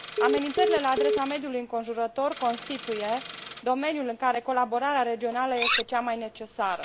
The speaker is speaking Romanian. Amenințările la adresa mediului înconjurător constituie domeniul în care colaborarea regională este cea mai necesară.